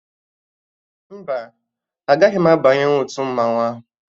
Mba, agaghị m abanyenwu otu mmanwụ ahụ